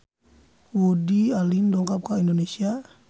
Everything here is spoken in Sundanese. Woody Allen dongkap ka Indonesia